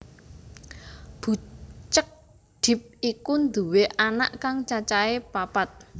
Bucek Depp iku nduwe anak kang cacahé papat